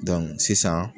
sisan